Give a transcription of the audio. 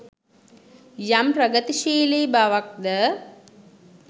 යම් ප්‍රගතිශීලි බවක් ද